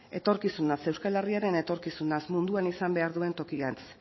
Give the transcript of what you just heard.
etorkizunaz euskal herriaren etorkizunaz munduan izan behar duen tokirantz